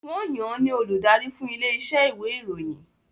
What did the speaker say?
Wọ́n yan ní olùdarí fún ilé iṣẹ́ ìwé ìròyìn